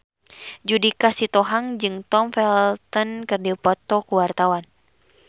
Judika Sitohang jeung Tom Felton keur dipoto ku wartawan